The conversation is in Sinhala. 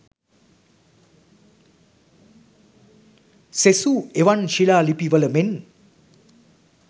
සෙසු එවන් ශිලා ලිපිවල මෙන්